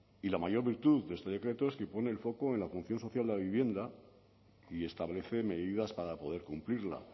y la mayor virtud de este decreto es que pone el foco en la función social de vivienda y establece medidas para poder cumplirla